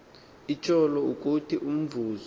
itshoyo ukuthi umvuzo